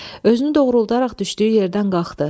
Özünü doğrulduaraq düşdüyü yerdən qalxdı.